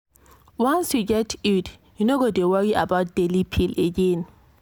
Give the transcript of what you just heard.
once you get iud you no go dey worry about daily pill again.